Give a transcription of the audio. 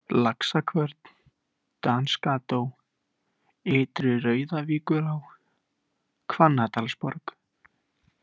Laxakvörn, Danskató, Ytri-Rauðavíkurá, Hvannadalsborg